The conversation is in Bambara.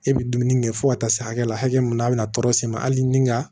E bɛ dumuni kɛ fo ka taa se hakɛ la hakɛ min na a bɛna tɔɔrɔ siri hali ni ka